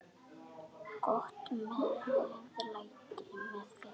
Gott meðlæti með fiski.